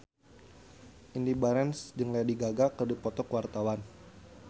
Indy Barens jeung Lady Gaga keur dipoto ku wartawan